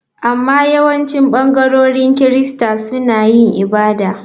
Amma yawancin ɓangarorin Kirista suna yin ibada.